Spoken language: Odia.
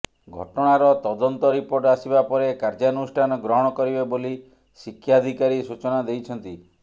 ଘଟଣାର ତଦନ୍ତ ରିପୋର୍ଟ ଆସିବା ପରେ କାର୍ୟ୍ୟାନୁଷ୍ଠାନ ଗ୍ରହଣ କରିବେ ବୋଲି ଶିକ୍ଷାଧିକାରୀ ସୂଚନା ଦେଇଛନ୍ତି